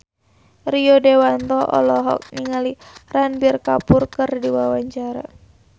Rio Dewanto olohok ningali Ranbir Kapoor keur diwawancara